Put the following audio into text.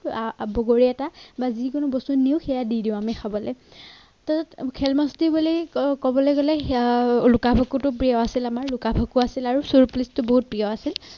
বগৰী এটা বা যিকোনো বস্তু নিও সেয়া দি দিওঁ আমি খাবলে খেল মস্তি বুলি ক'বলৈ গ'লে সেয়া লুকা-ভাকুতো প্ৰিয় আছিল আমাৰ লুকা-ভাকুতে আৰু চোৰ পুলিচটো বহুত প্ৰিয় আছিল।